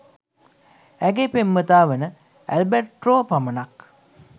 ඇගේ පෙම්වතා වන ඈල්බෑර්තෝ පමණක්